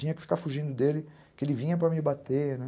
Tinha que ficar fugindo dele, que ele vinha para me bater, né?